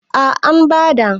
A an bada